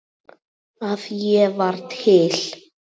að ég var til.